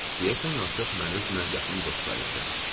Deyəsən artıq məni özünə yaxın dost sayırdı.